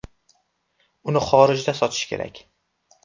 Uni xorijda sotish kerak.